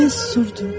Mən susurdum.